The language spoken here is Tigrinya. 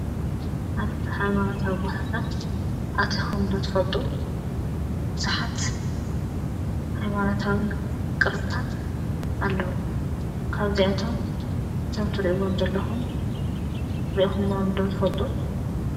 ኣብርሪ ኃይማናታዊ ጐታሳት ኣተኾምዶ ትፈጡ ብዙኃት ኃይማናታዊ ቕርስታት ኣለዉ ካርዘያቶም እቶም ትርኢቦም ዘለኹን ርእኹሞም ዶ ትፈልጡ።